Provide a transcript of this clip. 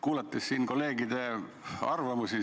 Kuulasin siin kolleegide arvamusi.